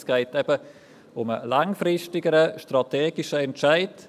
Vielmehr geht es um einen langfristigeren, strategischen Entscheid.